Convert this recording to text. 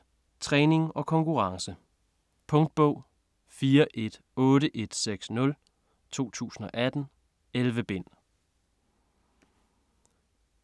Watt: træning og konkurrence Punktbog 418160 2018. 11 bind.